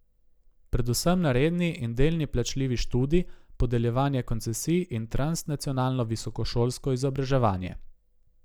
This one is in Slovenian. Predvsem na redni in delni plačljivi študij, podeljevanje koncesij in transnacionalno visokošolsko izobraževanje.